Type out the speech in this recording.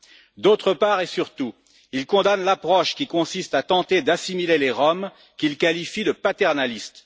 Par ailleurs et surtout, il condamne l'approche qui consiste à tenter d'assimiler les Roms, qu'il qualifie de paternaliste.